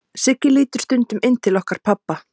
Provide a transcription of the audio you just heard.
Siggi lítur stundum inn til okkar pabba.